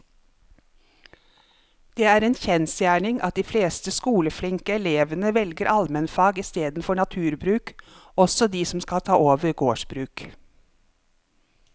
Det er en kjensgjerning at de fleste skoleflinke elevene velger allmennfag i stedet for naturbruk, også de som skal ta over gårdsbruk.